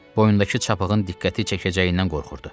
Boyundakı çapığın diqqəti çəkəcəyindən qorxurdu.